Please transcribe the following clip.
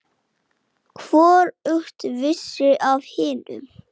Hvorugt vissi af hinu.